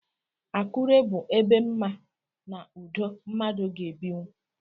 Akure bụ ebe mma na ụdọ mmadụ ga-ebinwú.